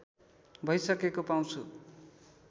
भइसकेको पाउँछु